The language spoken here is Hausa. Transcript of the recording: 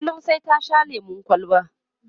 kullum sai ta Sha lemun kwalba